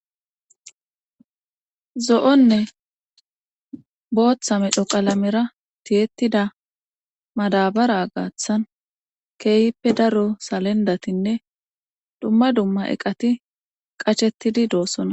Zo7onne botha medho qalamera tiyettida madabara gaathan keehipe daro salenddatinne dumma dumma eqati qachettidi de7oosona